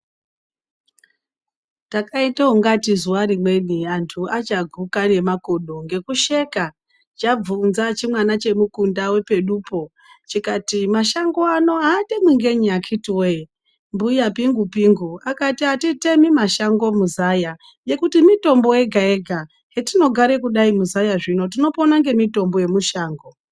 Takaite ungati zuva rimweni antu achaguka ngemakodo ngekusheka, chabvunza chimwana chemukunda chepedupo. Chikati mashango ano hatemwi ngei akhiti voye mbuya pingu-pingu akati hatitemi mashango muzaya nekuti mitombo yega-yega, yetinogara kudai muzaya zvino tinopona ngemitombo yemushango.